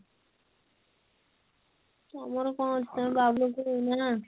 ତମର କଣ ଅଛି ତମେ ବାବୁ ଲୋକ ନା